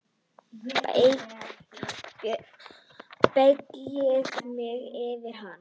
Beygði mig yfir hana.